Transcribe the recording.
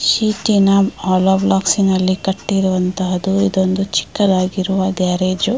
ಶೀಟ್ನ hollow blocks ಅಲ್ಲಿ ಕಟ್ಟಿರುವಂತಹ ಇದೊಂದು ಚಿಕ್ಕದಾಗಿರುವ ಗ್ಯಾರೇಜು .